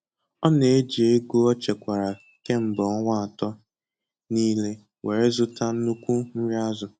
Ọ na-eji ego o chekwara kemgbe onwa atọ nile were zụta nnukwu nri azụ